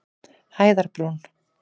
Hæðarbrún